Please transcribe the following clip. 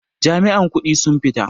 Jami'an kudi sun fita.